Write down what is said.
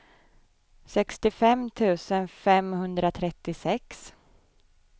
sextiofem tusen femhundratrettiosex